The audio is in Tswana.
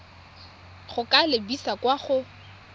go ka lebisa kwa go